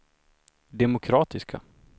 demokratiska